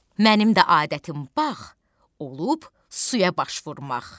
Mənim də adətim bax, olub suya baş vurmaq.